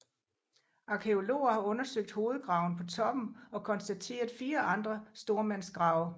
Arkæologer har undersøgt hovedgraven på toppen og konstateret 4 andre stormandsgrave